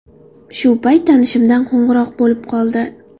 Shu payt tanishimdan qo‘ng‘iroq bo‘lib qoldi.